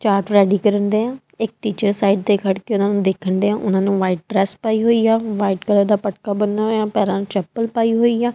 Chart ready ਕਰਨ ਢੇਆ ਇਕ ਟੀਚਰ ਸਾਈਡ ਤੇ ਖੜ ਕੇ ਉਹਨਾਂ ਨੂੰ ਦੇਖਣ ਢੇਆ ਉਹਨਾਂ ਨੂੰ ਵਾਈਟ ਡਰੈਸ ਪਾਈ ਹੋਈ ਐ ਵਾਈਟ ਕਲਰ ਦਾ ਪਟਕਾ ਬਣਨਾ ਹੋਇਆ ਪੈਰਾਂ ਨੂੰ ਚੱਪਲ ਪਾਈ ਹੋਈ ਐ।